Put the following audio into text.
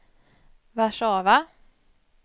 Warszawa